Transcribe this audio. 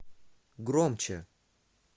громче